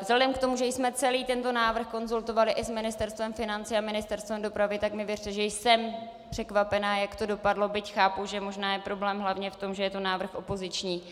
vzhledem k tomu, že jsme celý tento návrh konzultovali i s Ministerstvem financí a Ministerstvem dopravy, tak mi věřte, že jsem překvapena, jak to dopadlo, byť chápu, že možná je problém hlavně v tom, že je to návrh opoziční.